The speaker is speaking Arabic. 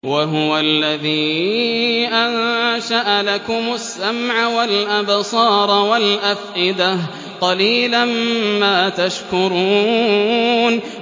وَهُوَ الَّذِي أَنشَأَ لَكُمُ السَّمْعَ وَالْأَبْصَارَ وَالْأَفْئِدَةَ ۚ قَلِيلًا مَّا تَشْكُرُونَ